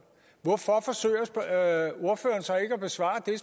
hvorfor forsøger ordføreren så ikke at besvare det